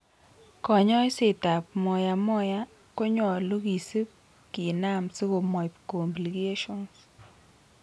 Konyoiset ap Moyamoya konyolu kisip kinam sikomoip Complications.